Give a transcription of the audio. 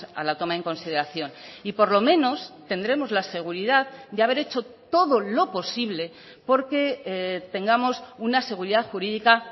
a la toma en consideración y por lo menos tendremos la seguridad de haber hecho todo lo posible porque tengamos una seguridad jurídica